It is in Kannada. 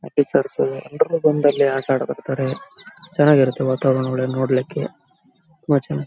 ಎಪಿಸೋಡ್ಸ್ಗಳು ಆಟ ಆಡ್ಬಿಡ್ತಾರೆ ಚೆನ್ನಾಗಿರತ್ತೆ ವಾತಾವರಣ ನೋಡ್ಲಿಕ್ಕೆ ಮಜಾ --